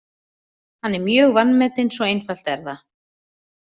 Hann er mjög vanmetinn, svo einfalt er það.